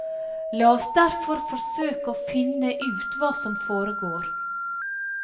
La oss derfor forsøke å finne ut hva som foregår.